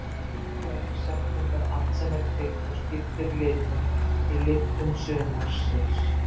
Úti kælir september allt sem er kvikt og skiptir litum í lyktum sumars.